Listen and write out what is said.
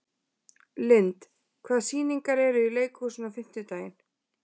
Lynd, hvaða sýningar eru í leikhúsinu á fimmtudaginn?